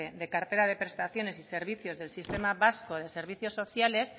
de cartera de prestaciones y servicios del sistema vasco de servicios sociales